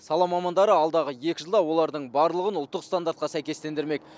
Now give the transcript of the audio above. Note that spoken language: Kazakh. сала мамандары алдағы екі жылда олардың барлығын ұлттық стандартқа сәйкестендірмек